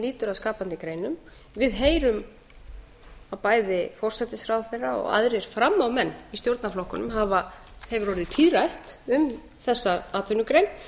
lýtur að skapandi greinum við heyrum að bæði forsætisráðherra og öðrum frammámönnum í stjórnarflokkunum hefur orðið tíðrætt um þessa atvinnugrein